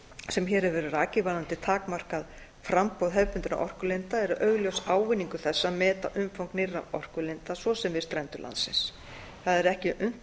sem hér hefur verið rakið varðandi takmarkað framboð hefðbundinna orkulinda er augljós ávinningur þess að meta umfang nýrra orkulinda svo sem við strendur landsins það er ekki unnt